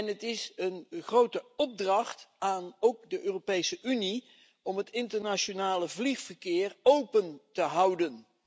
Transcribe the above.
Het is een grote opdracht, ook voor de Europese Unie, om het internationale vliegverkeer open te houden.